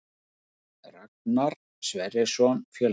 Ragnar Sverrisson Fjölnir